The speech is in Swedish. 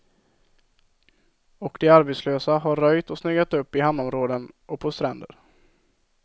Och de arbetslösa har röjt och snyggat upp i hamnområden och på stränder.